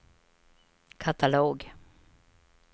katalog